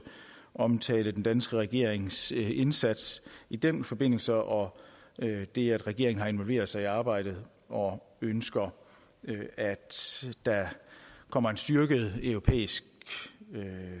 omtale den danske regerings indsats i den forbindelse og det at regeringen har involveret sig i arbejdet og ønsker at der kommer en styrket europæisk